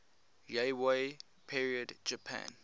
yayoi period japan